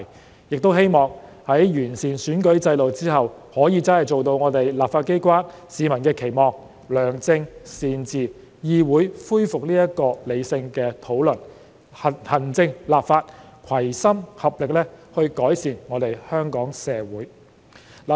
我們亦希望在完善選舉制度後，立法機關真的可以做到市民的期望，良政善治，議會恢復理性的討論，行政立法攜心合力改善香港社會。